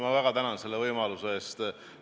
Ma väga tänan selle võimaluse eest!